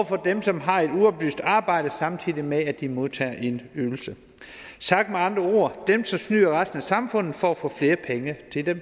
for dem som har et uoplyst arbejde samtidig med at de modtager en ydelse sagt med andre ord det dem som snyder resten af samfundet for at få flere penge til